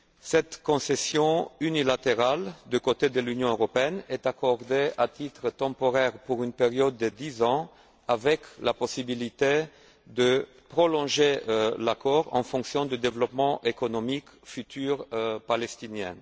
Cette concession unilatérale du côté de l'Union européenne est accordée, à titre temporaire, pour une période de dix ans, la possibilité étant prévue de prolonger l'accord en fonction du développement économique futur de la Palestine.